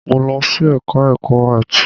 Mo lọ sí ẹka ẹ̀kọ́ áàtì.